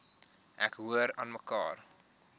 ek hoor aanmekaar